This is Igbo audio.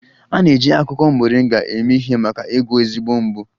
A na-eji akwụkwọ Moringa eme ihe maka ịgwọ ezé mgbu